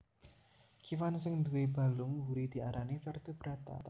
Kéwan sing nduwé balung mburi diarani Vertebrata